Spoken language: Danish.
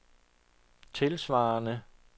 tilsvarende